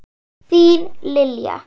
Þín, Lilja.